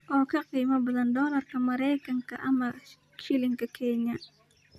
oo ka qiimo badan dollarka Maraykanka ama shilinka Kenya